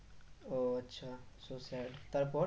ও আচ্ছা so sad তারপর?